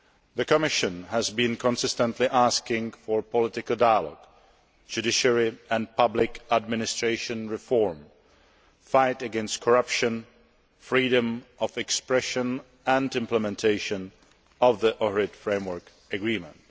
The Commission has been consistently asking for political dialogue, judiciary and public administration reform, fight against corruption, freedom of expression and implementation of the Ohrid Framework Agreement.